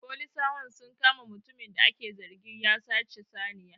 Folisawan sun kama mutumin da ake zargin ya sace saniya